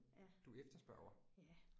Ja. Ja